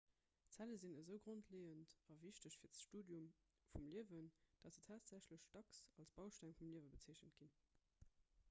zelle sinn esou grondleeënd a wichteg fir d'studium vum liewen datt se tatsächlech dacks als bausteng vum liewe bezeechent ginn